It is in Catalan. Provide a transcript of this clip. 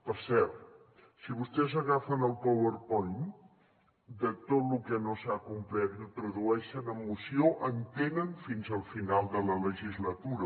per cert si vostès agafen el powerpoint de tot lo que no s’ha complert i ho tradueixen en moció en tenen fins al final de la legislatura